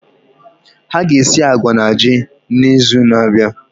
Ha ga esi agwa na ji n'izu na-abịa.